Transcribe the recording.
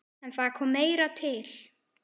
En það kom meira til.